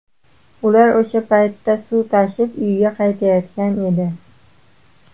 Ular o‘sha paytda suv tashib uyga qaytayotgan edi.